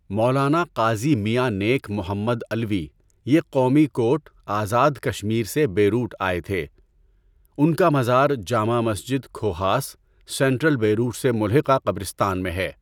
مولانا قاضی میاں نیک محمد علوی یہ قومی کوٹ، آزاد کشمیر سے بیروٹ آئے تھے، ان کا مزاز جامع مسجد کھوہاس، سنٹرل بیروٹ سے ملحقہ قبرستان میں ہے۔